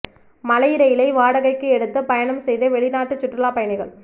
மலை ரெயிலை வாடகைக்கு எடுத்து பயணம் செய்த வெளிநாட்டு சுற்றுலா பயணிகள்